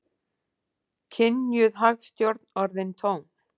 Kynjuð hagstjórn orðin tóm